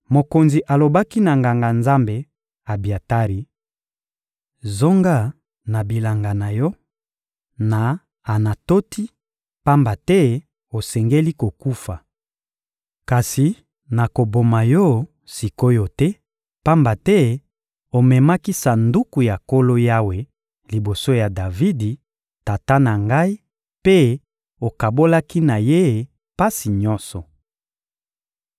Mokonzi alobaki na Nganga-Nzambe Abiatari: — Zonga na bilanga na yo, na Anatoti, pamba te osengeli kokufa. Kasi nakoboma yo sik’oyo te, pamba te omemaki Sanduku ya Nkolo Yawe liboso ya Davidi, tata na ngai, mpe okabolaki na ye pasi nyonso.